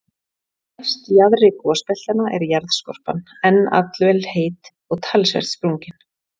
Næst jaðri gosbeltanna er jarðskorpan enn allvel heit og talsvert sprungin.